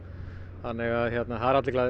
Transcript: þannig að það eru allir glaðir